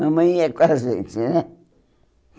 Mamãe ia com a gente, né?